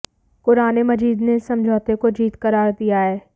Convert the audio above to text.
क़ुराने मजीद ने इस समझौते को जीत क़रार दिया है